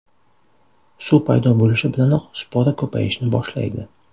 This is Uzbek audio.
Suv paydo bo‘lishi bilanoq spora ko‘payishni boshlaydi.